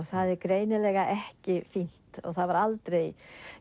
það var greinilega ekki fínt og það var aldrei